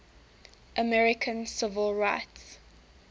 american civil rights